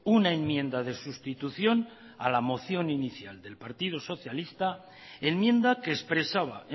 una enmienda de sustitución a la moción inicial del partido socialista enmienda que expresaba